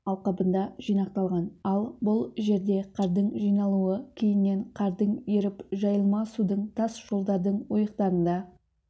алқабында жинақталған ал бұл жерде қардың жиналуы кейіннен қардың еріп жайылма судың тас жолдардың ойықтарында